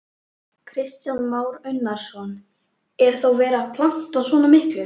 Kristján Már Unnarsson: Er þá verið að planta svona miklu?